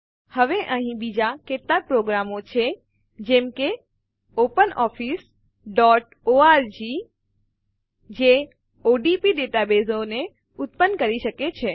હવે અહીં બીજા કેટલાક પ્રોગ્રામો છે જેમ કે openofficeઓર્ગ જે odb ડેટાબેઝો ઉત્પન્ન કરી શકે છે